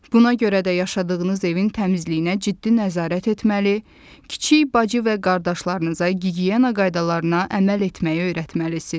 Buna görə də yaşadığınız evin təmizliyinə ciddi nəzarət etməli, kiçik bacı və qardaşlarınıza gigiyena qaydalarına əməl etməyi öyrətməlisiniz.